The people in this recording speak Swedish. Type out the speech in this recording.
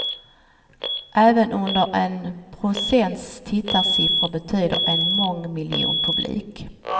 Även under en procents tittarsiffror betyder en mångmiljonpublik.